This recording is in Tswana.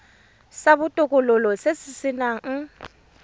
sa botokololo se se nang